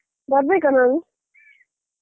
ಬರ್ಬೇಕಾ ನಾನು?